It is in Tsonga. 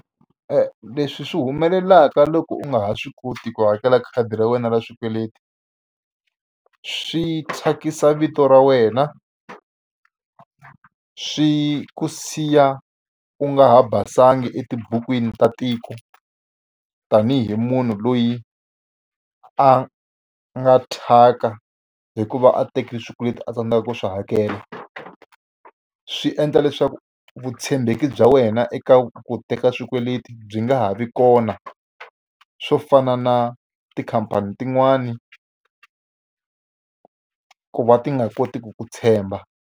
Leswi swi humelelaka loko u nga ha swi koti ku hakela khadi ra wena ra swikweleti, swi thyakisa vito ra wena, swi ku siya u nga ha basanga etibukwini ta tiko. Tanihi munhu loyi a nga thyaka hikuva a tekile swikweleti a tsandzekaka ku swi hakela. Swi endla leswaku vutshembeki bya wena eka ku teka swikweleti byi nga ha vi kona, swo fana na tikhampani tin'wana ku va ti nga kotiki ku tshemba.